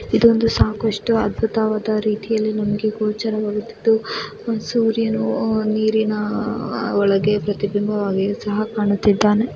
ಇದು ಒಂದು ಸಾಕಷ್ಟು ಅದ್ಬುತವಾದ್ ರೀತಿಯಲ್ಲಿ ನಮಗೆ ಗೋಚರವಾಗುತ್ತಿದ್ದು ಸೂರ್ಯನು ಅಹ್ ನೀರಿನ ಅಹ್ ಒಳಗೆ ಪ್ರತಿಬಿಂಬವಾಗಿಯೂ ಸಹ ಕಾಣುತ್ತಿದ್ದಾನೆ.